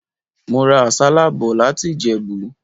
Mo ra àsálà bò láti Ìjẹ̀bú.